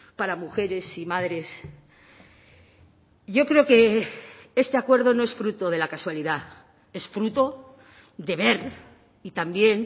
para mujeres y madres yo creo que este acuerdo no es fruto de la casualidad es fruto de ver y también